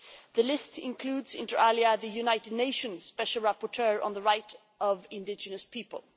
The list includes inter alia, the United Nations Special Rapporteur on the Rights of Indigenous People.